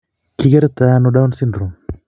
Kikerto ano Down syndrome?